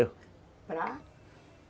Para?